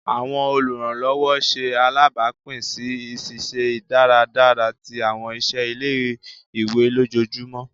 Awọn oluranlọwọ ṣe alabapin si iṣiṣẹ dáradára ti awọn iṣẹ ile-iwe lójoojúmó